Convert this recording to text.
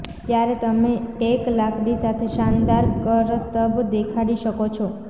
ત્યારે તમે એક લાકડી સાથે શાનદાર કરતબ દેખાડી શકો છો